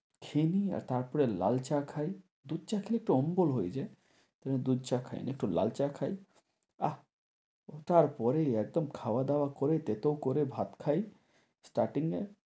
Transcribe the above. খেয়ে নিই। তারপরে লাল চা খাই। দুধ চা খেলে একটু অম্বল হয়ে যায় তাই দুধ চা খাই না একটু লাল চা খাই। আহ! ও তারপরে একদম খাওয়া দাওয়া করে তেতো করে ভাত খাই starting এ।